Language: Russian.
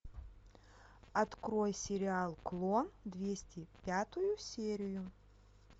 открой сериал клон двести пятую серию